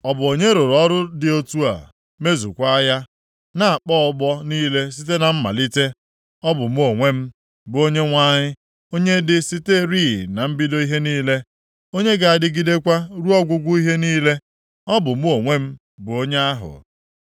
Ọ bụ onye rụrụ ọrụ dị otu a mezukwa ya, na-akpọ ọgbọ niile site na mmalite? Ọ bụ mụ onwe m, bụ Onyenwe anyị, onye dị siterị na mbido ihe niile, onye ga-adịgidekwa ruo ọgwụgwụ ihe niile. Ọ bụ mụ onwe m bụ onye ahụ.”